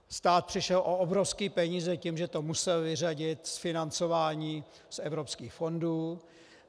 Stát přišel o obrovské peníze tím, že to musel vyřadit z financování z evropských fondů.